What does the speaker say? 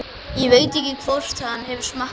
Ég veit ekki hvort hann hefur smakkað það.